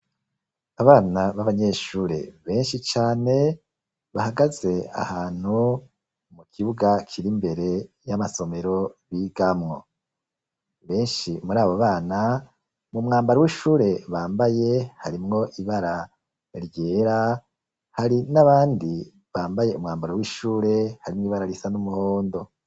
Abana b'abanyeshure, benshi cane, bahagaze ahantu, mu kibuga, kiri imbere y'amasomero bigamwo; benshi muri abo bana, mu mwambaro w'ishure bambaye, harimwo ibara ryera, hari n'abandi, bambaye umwambaro w'ishure, harimwo ibara risa n'umuhondo.